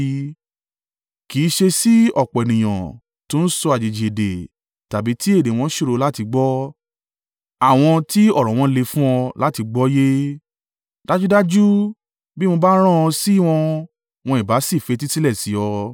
kì í ṣe sí ọ̀pọ̀ ènìyàn tó ń sọ àjèjì èdè tàbí tí èdè wọn ṣòro láti gbọ́, àwọn tí ọ̀rọ̀ wọn le fún ọ láti gbọ́ yé. Dájúdájú bí mo bá rán ọ sí wọn, wọn ìbá sì fetísílẹ̀ sí ọ.